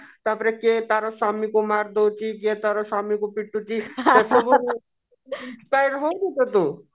ତାପରେ କିଏ ତା ସ୍ଵାମୀକୁ ମାରିଦଉଛି କିଏ ତାର ସ୍ଵାମୀକୁ ପିଟୁଛି